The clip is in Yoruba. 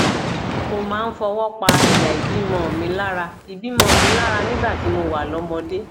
mo máa ń fọwọ pa ẹyà ìbímọ mi lára ìbímọ mi lára nígbà tí mo wà lọmọdé